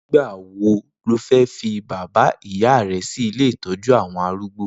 Nigbà wó ló fè fi bàbá ìyá rè si ilé itọ̀jú awọn àrúgbó?